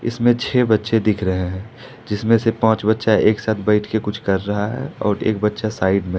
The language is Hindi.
इसमें छे बच्चे दिख रहे हैं जिसमें से पांच बच्चा एक साथ बैठके कुछ कर रहा है और एक बच्चा साइड में है।